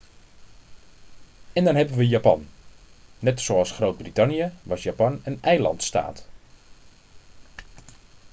en dan hebben we japan net zoals groot-brittannië was japan een eilandstaat